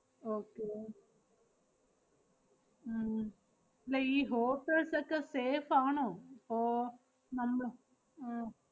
okay ഓ~ ഉം ~ല്ല ഈ hotels ഒക്കെ safe ആണോ ~പ്പോ നമ്മള്~ അഹ്